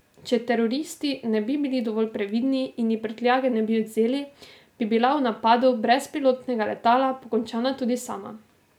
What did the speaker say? Če teroristi ne bi bili dovolj previdni in ji prtljage ne bi odvzeli, bi bila v napadu brezpilotnega letala pokončana tudi sama.